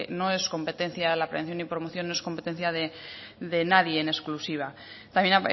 no es competencia la prevención y promoción no es competencia de nadie en exclusiva también